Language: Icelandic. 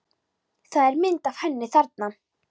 Það er mynd af henni þarna.